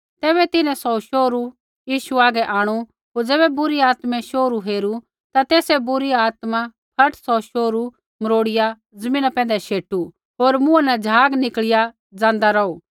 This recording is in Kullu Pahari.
तैबै तिन्हैं सौ शोहरू यीशु आगै आंणु होर ज़ैबै बुरी आत्मै यीशु हेरू ता तेसै बुरी आत्मै फट सौ शोहरू मरोड़ीया ज़मीना पैंधै शैटू होर मुँहा न झाग निकल़िया ज़ाँदा रौहू